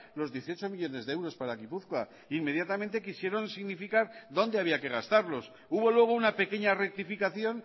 los dieciocho millónes de euros para gipuzkoa inmediatamente quisieron significar dónde había que gastarlos hubo luego una pequeña rectificación